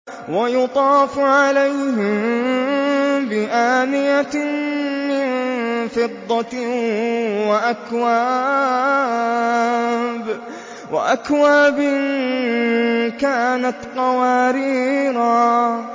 وَيُطَافُ عَلَيْهِم بِآنِيَةٍ مِّن فِضَّةٍ وَأَكْوَابٍ كَانَتْ قَوَارِيرَا